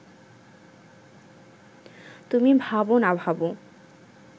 তুমি ভাব না ভাব